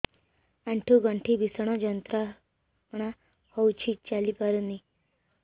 ଆଣ୍ଠୁ ଗଣ୍ଠି ଭିଷଣ ଯନ୍ତ୍ରଣା ହଉଛି ଚାଲି ପାରୁନି